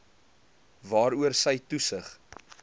waaroor sy toesig